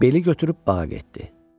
Beli götürüb bağa getdi.